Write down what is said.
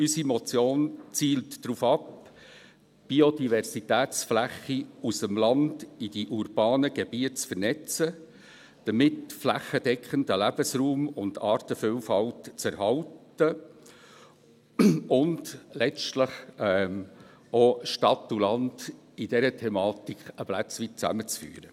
Unsere Motion zielt darauf ab, Biodiversitätsflächen aus dem Land in die urbanen Gebiete zu vernetzen, um damit flächendeckenden Lebensraum und Artenvielfalt zu erhalten und letztlich auch Stadt und Land in dieser Thematik ein Stück weit zusammen zu führen.